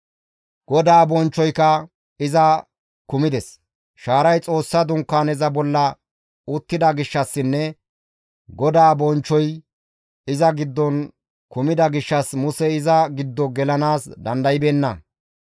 Shaaray Xoossa Dunkaaneza bolla uttida gishshassinne GODAA bonchchoy iza giddon kumida gishshas Musey iza giddo gelanaas dandaybeenna.